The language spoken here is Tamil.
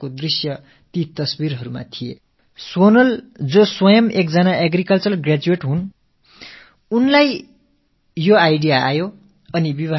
சோனலே கூட ஒரு விவசாயப் பட்டதாரி திருமணத்தில் மாமரக் கன்றுகளை அன்பளிப்பாக அளிப்பது என்ற கருத்து அவர் மனதில் உதித்த ஒன்று